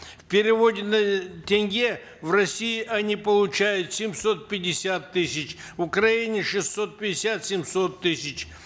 в переводе на тенге в россии они получают семьсот пятьдесят тысяч в украине шестьсот пятьдесят семьсот тысяч